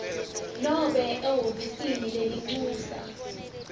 nobe ehhovisi lelincusa